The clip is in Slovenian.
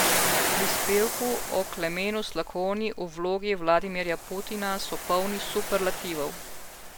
Prispevki o Klemenu Slakonji v vlogi Vladimirja Putina so polni superlativov.